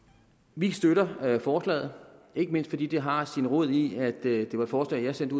vi støtter forslaget ikke mindst fordi det har sin rod i at det var et forslag jeg sendte